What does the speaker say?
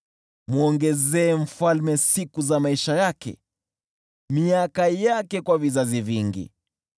Mwongezee mfalme siku za maisha yake, miaka yake kwa vizazi vingi.